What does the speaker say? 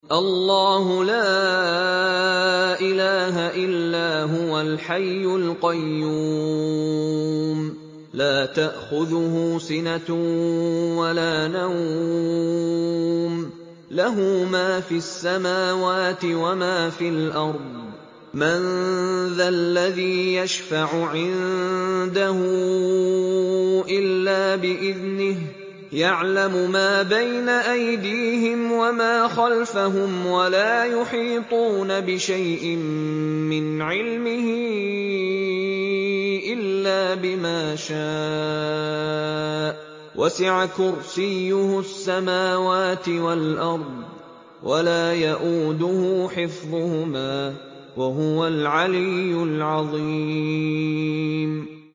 اللَّهُ لَا إِلَٰهَ إِلَّا هُوَ الْحَيُّ الْقَيُّومُ ۚ لَا تَأْخُذُهُ سِنَةٌ وَلَا نَوْمٌ ۚ لَّهُ مَا فِي السَّمَاوَاتِ وَمَا فِي الْأَرْضِ ۗ مَن ذَا الَّذِي يَشْفَعُ عِندَهُ إِلَّا بِإِذْنِهِ ۚ يَعْلَمُ مَا بَيْنَ أَيْدِيهِمْ وَمَا خَلْفَهُمْ ۖ وَلَا يُحِيطُونَ بِشَيْءٍ مِّنْ عِلْمِهِ إِلَّا بِمَا شَاءَ ۚ وَسِعَ كُرْسِيُّهُ السَّمَاوَاتِ وَالْأَرْضَ ۖ وَلَا يَئُودُهُ حِفْظُهُمَا ۚ وَهُوَ الْعَلِيُّ الْعَظِيمُ